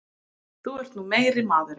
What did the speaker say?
Þú ert nú meiri maðurinn!